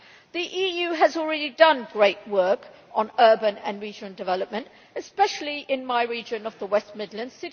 The EU has already done great work on urban and regional development, especially in my region of the West Midlands.